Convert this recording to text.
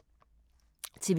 TV 2